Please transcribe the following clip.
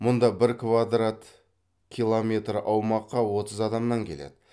мұнда бір квадрат километр аумақка отыз адамнан келеді